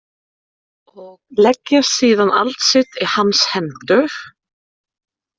Og leggja síðan allt sitt í hans hendur.